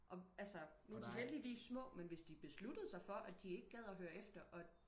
Og altså nu er de heldigvis små men hvis de besluttede sig for de ikke gad at høre efter og